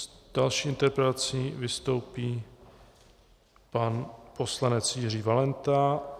S další interpelací vystoupí pan poslanec Jiří Valenta.